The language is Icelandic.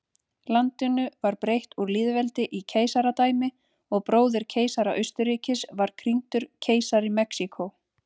Landinu var breytt úr lýðveldi í keisaradæmi og bróðir keisara Austurríkis var krýndur keisari Mexíkó.